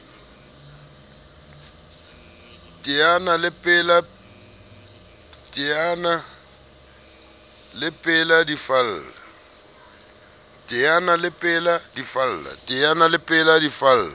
teana le pela di falla